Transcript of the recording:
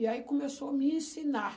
E aí começou a me ensinar.